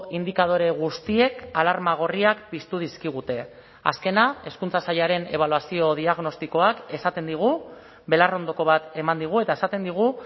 indikadore guztiek alarma gorriak piztu dizkigute azkena hezkuntza sailaren ebaluazio diagnostikoak esaten digu belarrondoko bat eman digu eta esaten digu